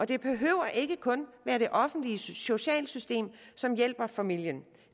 det behøver ikke kun at være det offentlige socialsystem som hjælper familien